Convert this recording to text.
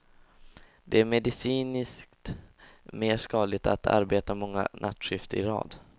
Det är medicinskt mer skadligt att arbeta många nattskift i rad.